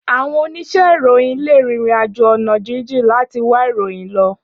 Áwòn óníṣè iróyin lé ririnàjó òná jìnjín làtí wá iróyin lò